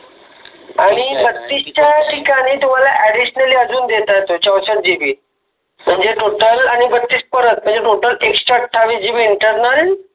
आणि बत्तिस च्या ठिकाणि तुम्हाला Additionally अजुन देतात ते चौसश्ट GB मनजे Total आनि बत्तिस परत मनजे एकशे अठ्ठाठाविस GBInternal